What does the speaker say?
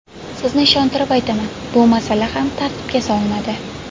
Sizni ishontirib aytaman, bu masala ham tartibga solinadi.